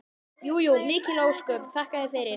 Jú jú, mikil ósköp, þakka þér fyrir.